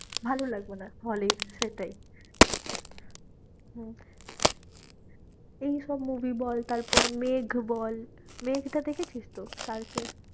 ভালো লাগবে না hall এ সেটাই হম এইসব movie বল তারপরে মেঘ বল, মেঘটা দেখেছিস তো শারুখের?